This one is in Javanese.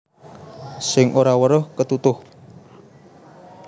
Sing ora weruh ketutuh